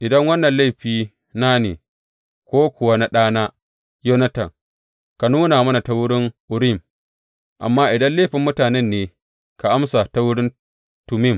Idan wannan laifina ne, ko kuwa na ɗana, Yonatan, ka nuna mana ta wurin Urim, amma idan laifin mutanen ne ka amsa ta wurin Tummim.